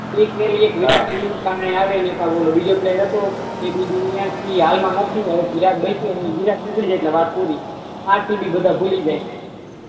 એક ફેરી વિરાટ હા બીજો પ્લેયર તો એ બી વિરાટ નીકળી જાય તો વાત પૂરી આરસીબી બધા ભૂલી જાય